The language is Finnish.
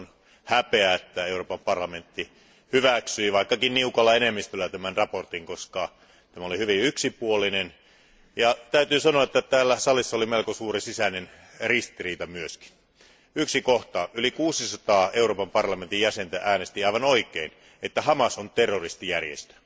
Minusta on häpeä, että Euroopan parlamentti hyväksyi, vaikkakin niukalla enemmistöllä, tämän mietinnön, koska tämä oli hyvin yksipuolinen, ja täytyy sanoa, että täällä salissa oli melko suuri sisäinen ristiriita. Kommentoin yhtä kohtaa. Yli 600 Euroopan parlamentin jäsentä äänesti aivan oikein, että Hamas on terroristijärjestö.